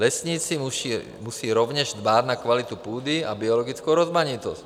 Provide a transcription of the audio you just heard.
Lesníci musí rovněž dbát na kvalitu půdy a biologickou rozmanitost.